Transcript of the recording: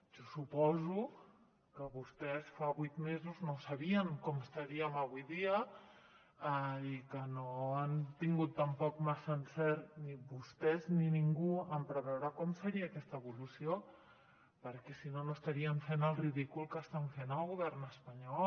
jo suposo que vostès fa vuit mesos no sabien com estaríem avui dia i que no han tingut tampoc massa encert ni vostès ni ningú en preveure com seria aquesta evolució perquè si no no estarien fent el ridícul que estan fent al govern espanyol